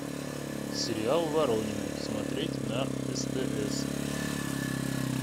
сериал воронины смотреть на стс